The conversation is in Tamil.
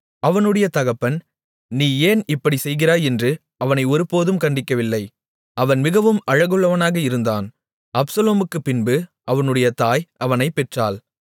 அவனுடைய தகப்பன் நீ ஏன் இப்படிச் செய்கிறாய் என்று அவனை ஒருபோதும் கண்டிக்கவில்லை அவன் மிகவும் அழகுள்ளவனாக இருந்தான் அப்சலோமுக்குப்பின்பு அவனுடைய தாய் அவனைப் பெற்றாள்